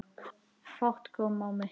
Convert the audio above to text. Fát kom á mig.